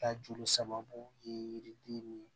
Ka joli sababu ye yiriden ni